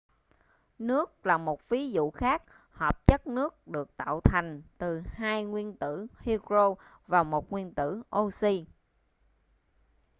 nước là một ví dụ khác hợp chất nước được tạo thành từ hai nguyên tử hydro và một nguyên tử oxy